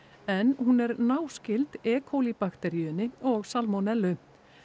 en hún er náskyld bakteríunni og salmonellu